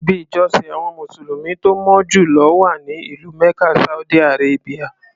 Ibi ìjọsìn àwọn mùsùlùmí tó mọ́ jù lọ wà ní ìlú Mecca Saudi Arabia.